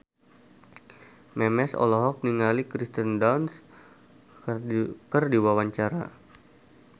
Memes olohok ningali Kirsten Dunst keur diwawancara